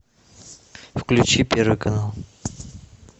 включи первый канал